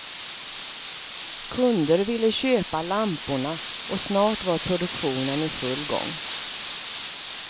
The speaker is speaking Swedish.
Kunder ville köpa lamporna och snart var produktionen i full gång.